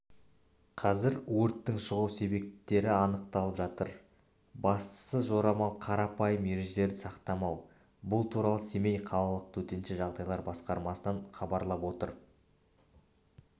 қазір өрттің шығу себептері анықталып жатыр басты жорамал қарапайым ережелерді сақтамау бұл туралы семей қалалық төтенше жағдайлар басқармасынан хабарлап отыр